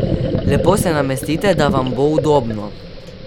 Lepo se namestite, da vam bo udobno.